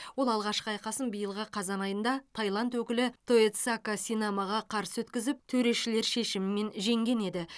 ол алғашқы айқасын биылғы қазан айында таиланд өкілі тоедсака синамаға қарсы өткізіп төрешілер шешімімен жеңген еді